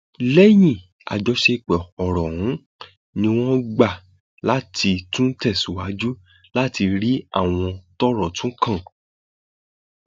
lẹyìn àjọsọ ọrọ ọhún ni wọn gbà láti láti tún tẹsíwájú láti rí àwọn tọrọ tún kàn